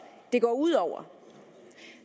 det går ud over